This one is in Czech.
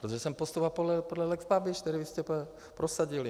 Protože jsem postupoval podle lex Babiš, který vy jste prosadili.